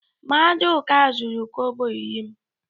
Maduka zuru kobo iri m